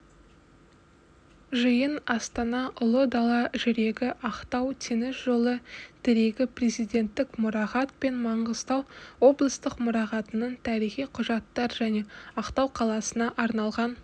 жиын астана ұлы дала жүрегі ақтау теңіз жолы тірегі президенттік мұрағат пен маңғыстау облыстық мұрағатының тарихи құжаттар және ақтау қаласына арналған